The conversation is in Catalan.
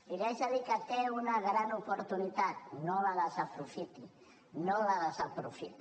i li haig de dir que té una gran oportunitat no la desaprofiti no la desaprofiti